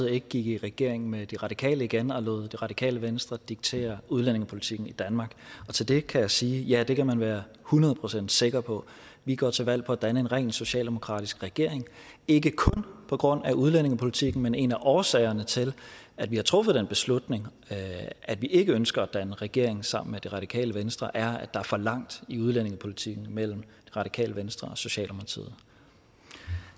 ikke gik i regering med de radikale igen og lod det radikale venstre diktere udlændingepolitikken i danmark og til det kan jeg sige ja det kan man være hundrede procent sikker på vi går til valg på at danne en rent socialdemokratisk regering ikke kun på grund af udlændingepolitikken men en af årsagerne til at vi har truffet den beslutning at vi ikke ønsker at danne regering sammen med det radikale venstre er at der er for langt i udlændingepolitikken mellem det radikale venstre og socialdemokratiet